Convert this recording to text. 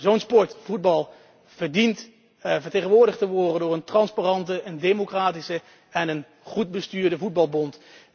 Zo'n sport, voetbal, verdient vertegenwoordigd te worden door een transparante, democratische en goed bestuurde voetbalbond.